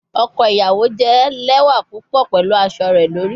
Ọkọ iyawo jẹ lẹwa pupọ pẹlu aṣọ rẹ lori